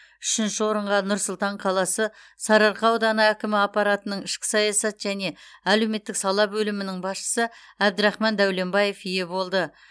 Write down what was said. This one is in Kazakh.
үшінші орынға нұр сұлтан қаласы сарыарқа ауданы әкімі аппаратының ішкі саясат және әлеуметтік сала бөлімінің басшысы әбдірахман дәуленбаев ие болды